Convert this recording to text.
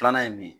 Filanan ye mun ye